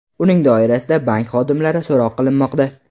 Uning doirasida bank xodimlari so‘roq qilinmoqda.